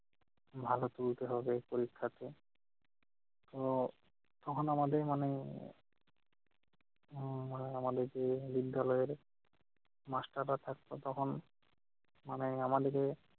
ভালো তুলতে হবে পরীক্ষাতে। তো তখন আমাদের মনে উম মানে আমাদেরকে বিদ্যালয়ের master রা থাকতো তখন মানে আমাদেরকে